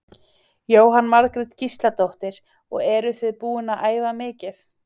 Jóhanna Margrét Gísladóttir: Og eruð þið búin að æfa mikið?